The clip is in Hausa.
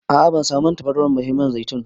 A a ban samu man tafarnuwar ba sai man zaitun.